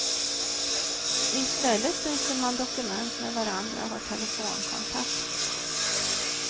I stället byter man dokument med varandra och har telefonkontakt.